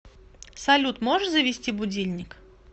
салют можешь завести будильник